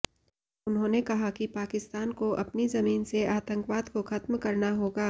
उन्होंने कहा कि पाकिस्तान को अपनी जमीन से आतंकवाद को खत्म करना होगा